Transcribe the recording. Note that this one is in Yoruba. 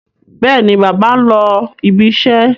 Bẹ́ẹ̀ni, bàbá ń lọ ibiṣẹ́.